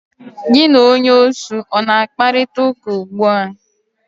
Gi na onye osu ọ na akparịtaụka ụgbụa?